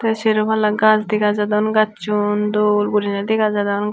tay seropala gaj dega jadon gacchun dol gurine dega jadon gach.